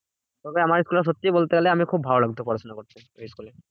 তবে আমার school টা সত্যি বলতে গেলে আমি খুব ভালো লাগতো পড়াশোনা করতে।